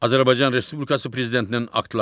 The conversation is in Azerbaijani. Azərbaycan Respublikası prezidentinin aktları.